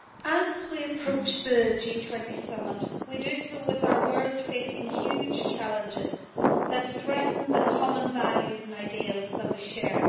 As we approach the G20 Summit, we do so with our world facing huge challenges that threaten the common values and ideals that we share.